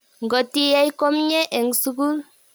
Ngot iyai komnye eng' sukul.